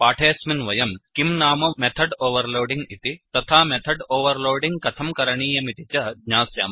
पाठेस्मिन् वयम् किं नाम मेथड् ओवर्लोडिङ्ग् इति तथा मेथड् ओवर्लोडिङ्ग् कथं करणीयमिति च ज्ञास्यामः